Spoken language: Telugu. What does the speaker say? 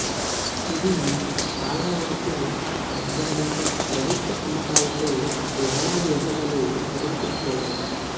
ఇవి చాలావరకు కబ్జాలు ప్రభుత్వ అమ్మకాలతో వేలాది ఎకరాలు హరించుకుపోయాయి